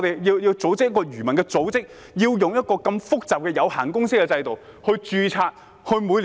為何漁民組織要用這麼複雜的"有限公司"制度註冊呢？